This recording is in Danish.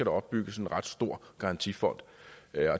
opbygges en ret stor garantifond